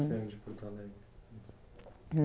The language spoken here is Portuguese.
Você é de Porto Alegre?